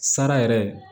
Sara yɛrɛ